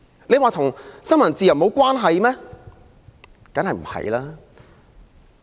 這與新聞自由無關嗎？